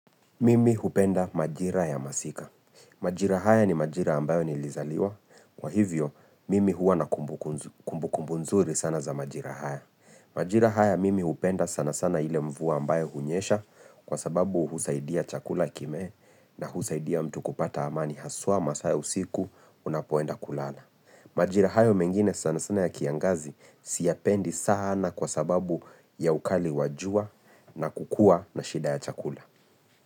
Mimi hupenda majira ya masika. Majira haya ni majira ambayo nilizaliwa. Kwa hivyo, mimi hua na kumbu kumbu nzuri sana za majira haya. Majira haya mimi hupenda sana sana ile mvua ambayo hunyesha kwa sababu husaidia chakula kimee na husaidia mtu kupata amani haswa masaa ya usiku unapoenda kulala. Majira haya mengine sana sana ya kiangazi siyapendi sana kwa sababu ya ukali wajua na kukua na shida ya chakula.